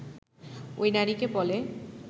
ওই নারীকে বলে